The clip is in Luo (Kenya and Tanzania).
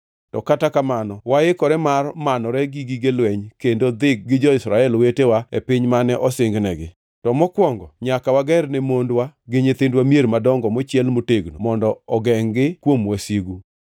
To kata kamano waikore mar manore gi gige lweny kendo dhi gi jo-Israel wetewa e piny mane osingnegi. To mokwongo nyaka wager ne mondwa gi nyithindwa mier madongo mochiel motegno mondo ogengʼ-gi kuom wasigu.